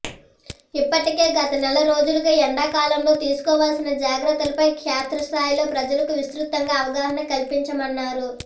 ఇప్పటికే గత నెల రోజులుగా ఎండా కాలంలో తీసుకోవాల్సిన జాగ్రత్తలపై క్షేత్రస్థాయిలో ప్రజలకు విస్తృతంగా అవగాహన కల్పించామన్నారు